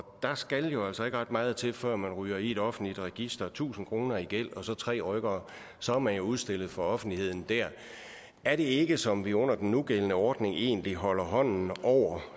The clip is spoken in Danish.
der skal jo altså ikke ret meget til før man ryger i et offentligt register tusind kroner i gæld og så tre rykkere og så er man udstillet for offentligheden der er det ikke som om vi under den nugældende ordning egentlig holder hånden over